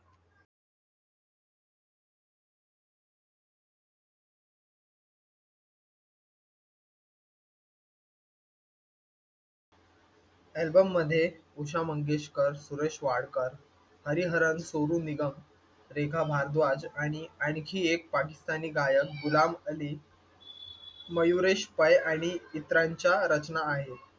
Album मध्ये उषा मंगेशकर, सुरेश वाडकर, हरिहरन, सोनू निगम, रेखा भारद्वाज आणि आणखी एक पाकिस्तानी गायक, गुलाम अली, मयुरेश पै आणि इतरांच्या रचना आहेत.